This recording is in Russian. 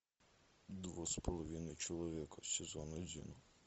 два с половиной человека сезон один